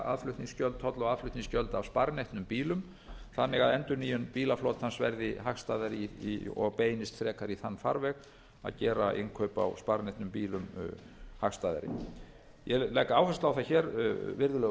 tolla og aðflutningsgjöld af sparneytnum bílum þannig að endurnýjun bílaflotans verði hagstæðari og beinist frekar í þann farveg að gera innkaup á sparneytnum bílum hagstæðari ég legg áherslu á það virðulegur